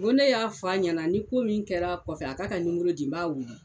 Ngo ne y'a f'a ɲɛna ni ko min kɛr'a kɔfɛ a k'a ka nimoro di n b'a wele